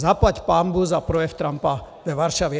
Zaplať pánbůh za projev Trumpa ve Varšavě.